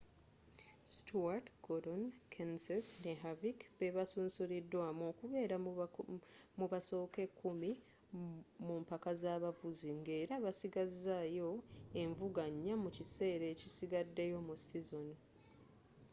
stewart gordon kenseth ne harvick be basunsulidwamu okubeera mu basooka ekkumi mu mpaka z'abavuzi ng'era basigazizaayo envuga nnya mu kiseera ekisigaddeyo mu sizoni